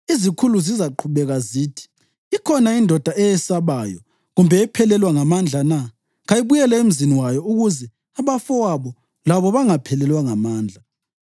Izikhulu zizaqhubeka zithi, ‘Ikhona indoda eyesabayo kumbe ephelelwa ngamandla na? Kayibuyele emzini wayo ukuze abafowabo labo bangaphelelwa ngamandla.’